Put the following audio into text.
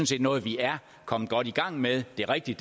set noget vi er kommet godt i gang med det er rigtigt